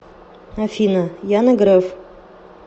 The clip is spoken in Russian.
афина яна греф